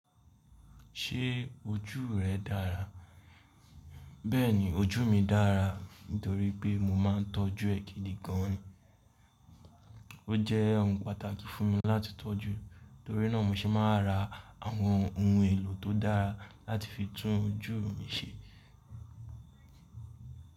Ṣé ojú rẹ dára? Bẹ́ẹ̀ni ojú mi dára nítorí pé mo máa ń tọ́jú ẹ́ gídigán ni. Ó jẹ́ ohun pàtàkì fún mi láti tọ́jú, torí náà mo se máa ra àwọn ohun èlò tó dára láti fi tún ojú mi ṣe.